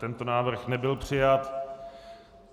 Tento návrh nebyl přijat.